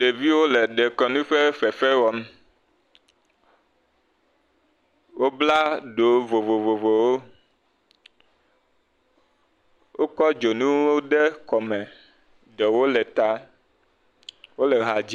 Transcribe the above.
Ɖeviwo le ɖekɔ nu ƒe fefe wɔm, o bla ɖo vovovovowo, o kɔ dzonuwo ɖe kɔ me, ɖewo le ta, o le ha dzi.